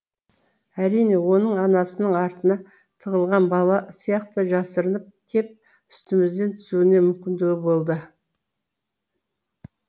әрине оның анасының артына тығылған бала сияқты жасырынып кеп үстімізден түсуіне мүмкіндігі болды